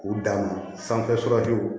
U dan ma sanfɛ